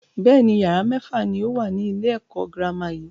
Bẹ́ẹ̀ni, yàrá mẹ́fà ni ó wà ní ilé ẹ̀kọ́ girama yìí.